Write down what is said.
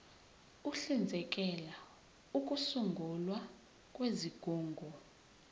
uhlinzekela ukusungulwa kwezigungu